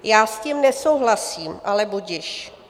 Já s tím nesouhlasím, ale budiž.